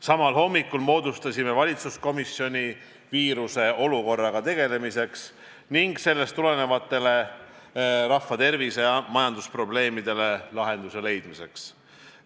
Samal hommikul moodustasime valitsuskomisjoni viiruse olukorraga tegelemiseks ning sellest tulenevatele rahvatervise- ja majandusprobleemidele lahenduse leidmiseks.